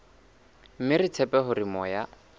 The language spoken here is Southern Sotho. mme re tshepa hore moya